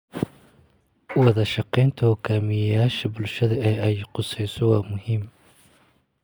Wadashaqeynta hoggaamiyeyaasha bulshada ee ay khuseyso waa muhiim